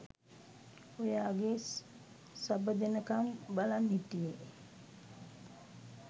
ඔයාගේ සබ දෙනකම් බලන් හිටියේ